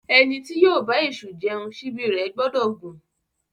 Ẹni tí yóò bá èṣù jẹun, síbí rẹ̀ gbọ́dọ̀ gùn.